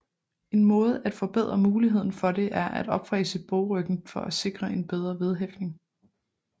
En måde at forbedre muligheden for det er at opfræse bogryggen for at sikre en bedre vedhæftning